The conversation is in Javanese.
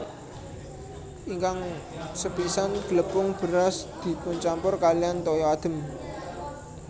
Ingkang sepisan glepung beras dipuncampur kaliyan toya adhem